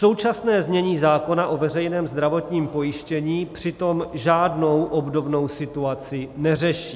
Současné znění zákona o veřejném zdravotním pojištění přitom žádnou obdobnou situaci neřeší.